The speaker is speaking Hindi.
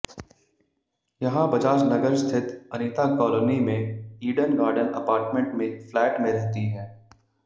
यहां बजाज नगर स्थित अनिता कॉलोनी में ईडन गार्डन अपार्टमेंट में फ्लैट में रहती है